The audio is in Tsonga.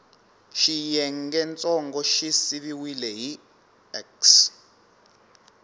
xiyengentsongo xi siviwile hi x